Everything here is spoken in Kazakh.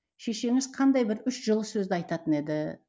шешеңіз қандай бір үш жылы сөзді айтатын еді